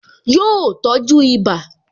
Yọ tọ́jú ibà